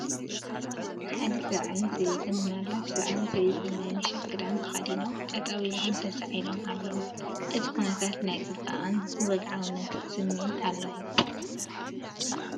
ሓደ ሰብኣይን ሰበይትን ምናልባት ሰብኣይን ሰበይትን ናይ ምሸት ክዳን ተኸዲኖም ጠጠው ኢሎም ተሳኢሎም ኣለው። እዚ ኩነታት ናይ ጽባቐን ወግዓውነትን ስምዒት ኣለዎ።